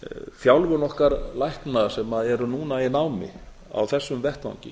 þjálfun okkar lækna sem nú eru í námi á þessum vettvangi